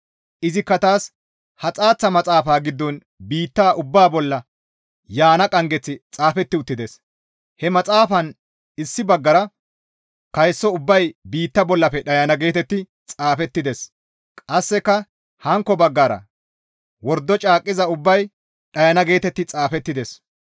Izikka taas, «Ha xaaththa maxaafa giddon biitta ubbaa bolla yaana qanggeththi xaafeti uttides; he maxaafan issi baggara, ‹Kayso ubbay biitta bollafe dhayana› geetetti xaafettides; qasseka hankko baggara, ‹Wordo caaqqiza ubbay dhayana› geetetti xaafettides.